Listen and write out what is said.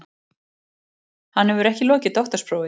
Hann hefur ekki lokið doktorsprófi